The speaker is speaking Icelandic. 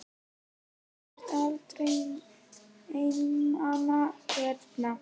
Og þú ert aldrei einmana hérna?